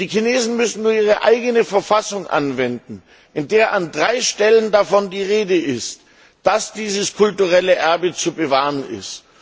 Die Chinesen müssen nur ihre eigene Verfassung anwenden, in der an drei Stellen davon die Rede ist, dass dieses kulturelle Erbe zu bewahren ist.